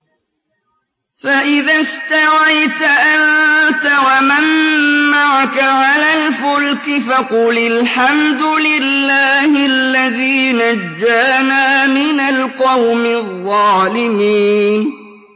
فَإِذَا اسْتَوَيْتَ أَنتَ وَمَن مَّعَكَ عَلَى الْفُلْكِ فَقُلِ الْحَمْدُ لِلَّهِ الَّذِي نَجَّانَا مِنَ الْقَوْمِ الظَّالِمِينَ